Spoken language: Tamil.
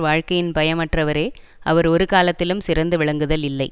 வாழ்க்கையின் பயம் அற்றவரே அவர் ஒரு காலத்திலும் சிறந்து விளங்குதல் இல்லை